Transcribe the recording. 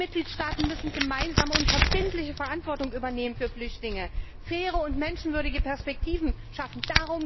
Die Mitgliedstaaten müssen gemeinsame und verbindliche Verantwortung für Flüchtlinge übernehmen, faire und menschenwürdige Perspektiven schaffen.